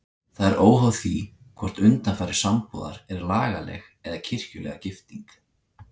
Það er óháð því hvort undanfari sambúðar er lagaleg eða kirkjulega gifting.